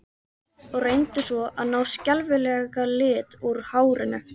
Og reyndu svo að ná þessum skelfilega lit úr hárinu!